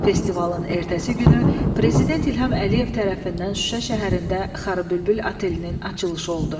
Festivalın ertəsi günü prezident İlham Əliyev tərəfindən Şuşa şəhərində Xarı bülbül otelinin açılışı oldu.